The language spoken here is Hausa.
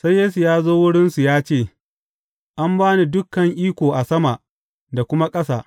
Sai Yesu ya zo wurinsu ya ce, An ba ni dukan iko a sama da kuma ƙasa.